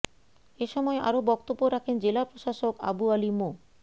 এ সময় আরো বক্তব্য রাখেন জেলা প্রশাসক আবু আলী মো